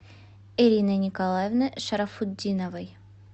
ириной николаевной шарафутдиновой